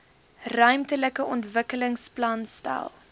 ruimtelike ontwikkelingsplan stel